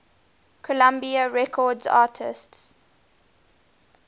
columbia records artists